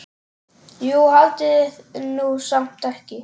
Jú, haldiði nú samt ekki.